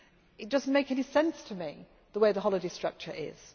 regulations. It does not make any sense to me the way the holiday